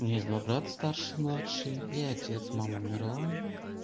у меня есть два брата старший младший и отец мама умерла